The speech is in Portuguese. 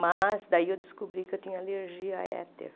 Mas daí eu descobri que eu tinha alergia a éter.